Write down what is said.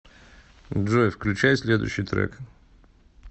джой включай следующий трек